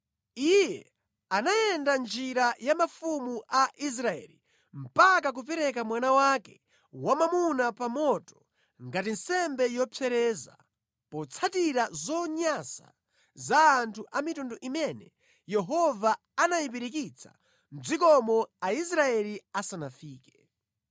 Iye anayenda mʼnjira ya mafumu a Israeli mpaka kupereka mwana wake wamwamuna pa moto ngati nsembe yopsereza, potsatira zonyansa za anthu a mitundu imene Yehova anayipirikitsa mʼdzikomo Aisraeli asanafike.